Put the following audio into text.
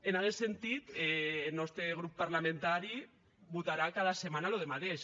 en aguest sentit eth nòste grop parlamentari votarà cada setmana ço de madeish